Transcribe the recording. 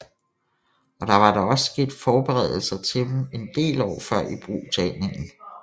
Og der var da også sket forberedelser til dem en del år før ibrugtagningen